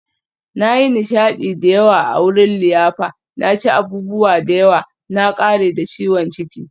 Na yi nishadi da yawa a wurin liyafa, na ci abubuwa da yawa, na ƙare da ciwon ciki.